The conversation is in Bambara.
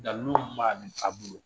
Dalilu ma a bolo